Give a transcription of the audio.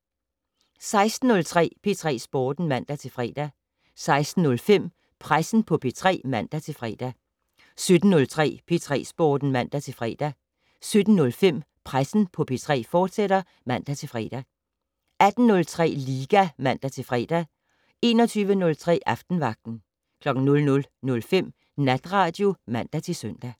16:03: P3 Sporten (man-fre) 16:05: Pressen på P3 (man-fre) 17:03: P3 Sporten (man-fre) 17:05: Pressen på P3, fortsat (man-fre) 18:03: Liga (man-fre) 21:03: Aftenvagten 00:05: Natradio (man-søn)